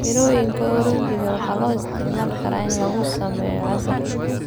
Mirooyinka oranji waxaa loo isticmaali karaa in lagu sameeyo casiir.